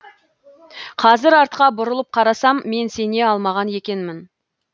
қазір артқа бұрылып қарасам мен сене алмаған екенмін